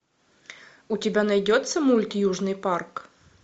у тебя найдется мульт южный парк